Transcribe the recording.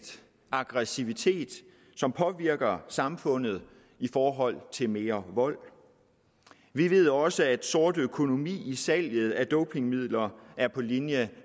aggressivitet som påvirker samfundet i forhold til mere vold vi ved også at den sorte økonomi salget af dopingmidler er på linje